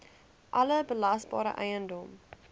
alle belasbare eiendom